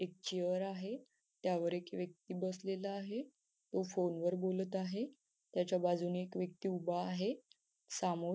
एक चेअर आहे त्यावर एक व्यक्ती बसलेला आहे तो फोनवर बोलत आहे त्याच्या बाजूने एक व्यक्ती उभा आहे सामोर--